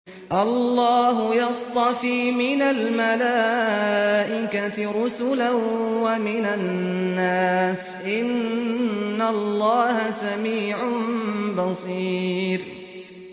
اللَّهُ يَصْطَفِي مِنَ الْمَلَائِكَةِ رُسُلًا وَمِنَ النَّاسِ ۚ إِنَّ اللَّهَ سَمِيعٌ بَصِيرٌ